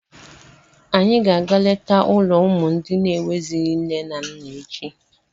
Anyị ga-aga letaa ụlọ ụmụ ndị n'enweghịzị nne na nna echi.